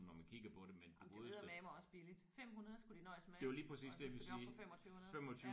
Det var eddermaneme også billigt. 500 skulle de nøjes med og nu skal de op på 2500